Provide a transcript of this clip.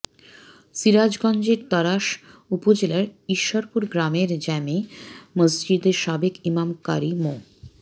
সিরাজগঞ্জের তাড়াশ উপজেলার ইশ্বরপুর গ্রামের জামে মসজিদের সাবেক ইমাম কারি মো